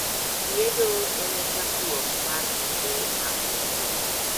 Liedo en e chakruok mar kinde mag kuyo.